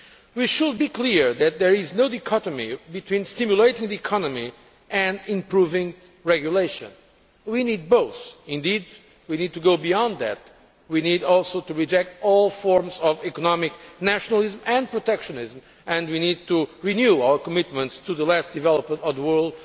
We should be clear that there is no dichotomy between stimulating the economy and improving regulation we need both. Indeed, we need to go beyond that we need also to reject all forms of economic nationalism and protectionism and we need to renew our commitments to the less developed world,